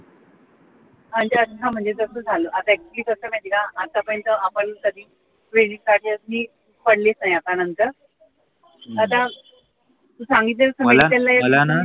म्हणजे कस झालं आता at least कस म्हणजे माहिती का आत्ता पर्यंत आपण कधी credit card ची पडलीच नाही आता नंतर आता तू सांगितलंस